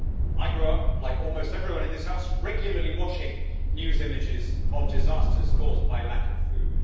I grew up, like almost everyone in this House, regularly watching news images of disasters caused by lack of food.